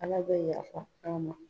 Ala bɛ yafa an ma